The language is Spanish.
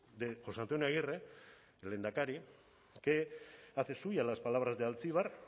de jose antonio agirre el lehendakari que hace suyas las palabras de altzibar